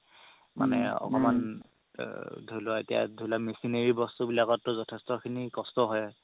মানে অলপমান ধৰি লোৱা এতিয়া ধৰি লোৱা machinery বস্তু বিলাকতো যঠেষ্ট কষ্ট হয়